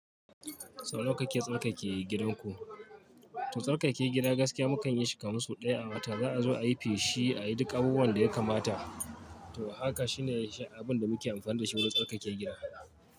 Sau nawa kake tsarkake gidan ku? To tsarkakake gida gaskiya mukan yi shi kaman sau ɗaya a wata za a zo a yi feshi, a yi duk abubuwan da ya kamata. To haka shine abin da muke amfani da shi wajen tsarkake gida.